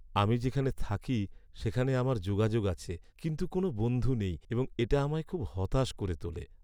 আমি যেখানে থাকি সেখানে আমার যোগাযোগ আছে কিন্তু কোনও বন্ধু নেই এবং এটা আমায় খুব হতাশ করে তোলে।